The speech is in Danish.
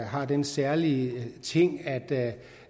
har den særlige ting at